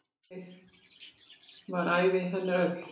Þannig var ævi hennar öll.